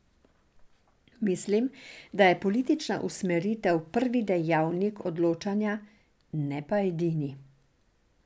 Mislim, da je politična usmeritev prvi dejavnik odločanja, ne pa edini.